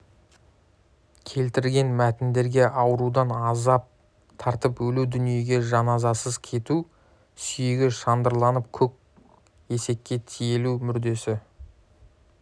келтірген мәтіндерде аурудан азап тартып өлу дүниеге жаназасыз кету сүйегі шандырланып көк есекке тиелу мүрдесі